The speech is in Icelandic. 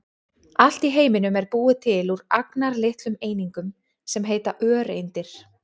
Allt í heiminum er búið til úr agnarlitlum einingum sem heita öreindir.